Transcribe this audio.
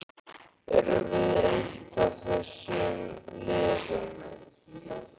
Erum við eitt af þessum liðum?